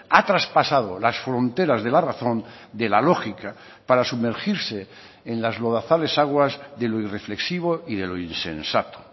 ha traspasado las fronteras de la razón de la lógica para sumergirse en las lodazales aguas de lo irreflexivo y de lo insensato